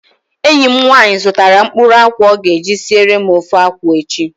Enyi m nwaanyị zụtara mkpụrụ akwụ ọ ga-eji siere m ofe akwụ echi